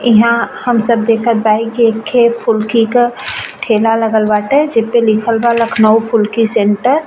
इहाँ हम सब देखत बाही कि एक खे फुल्की का ठेला लागल बाटे जेपे लिखल बा लख़नऊ फुल्की सेन्टर ।